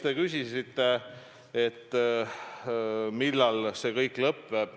Te küsisite, millal see kõik lõpeb.